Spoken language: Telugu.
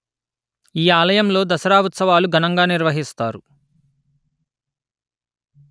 ఈ ఆలయంలో దసరా ఉత్సవాలు ఘనంగా నిర్వహిస్తారు